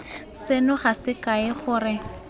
seno ga se kae gore